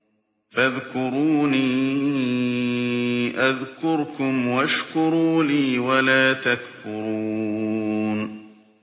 فَاذْكُرُونِي أَذْكُرْكُمْ وَاشْكُرُوا لِي وَلَا تَكْفُرُونِ